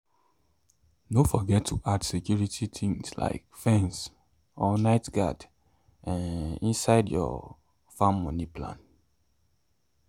no forget to add security things like fence or night guard um inside your farm money plan. um